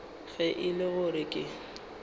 ge e le gore ke